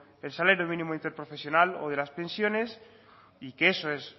el salario mínimo interprofesional o de las pensiones y que eso es